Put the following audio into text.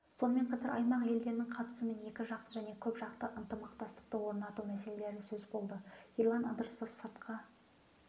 сонымен қатар аймақ елдерінің қатысуымен екіжақты және көпжақты ынтымақтастықты орнату мәселелері сөз болды ерлан ыдырысов сыртқы